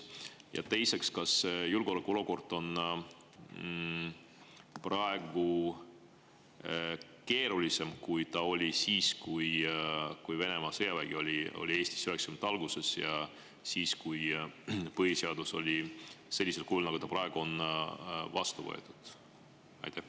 Ja teiseks, kas julgeolekuolukord on praegu keerulisem, kui ta oli siis, kui Venemaa sõjavägi oli 1990. aastate alguses Eestis, ja siis, kui põhiseadus sellisel kujul, nagu ta praegu on, vastu võeti?